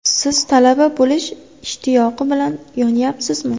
Siz talaba bo‘lish ishtiyoqi bilan yonyapsizmi?